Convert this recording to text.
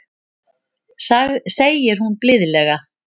segir hún blíðlega.